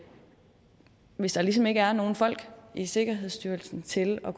hvis der ligesom ikke er nogen folk i sikkerhedsstyrelsen til at